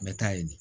N bɛ taa yen de